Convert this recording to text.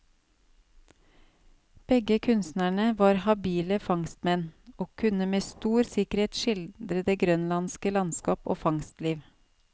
Begge kunstnerne var habile fangstmenn, og kunne med stor sikkerhet skildre det grønlandske landskap og fangstliv.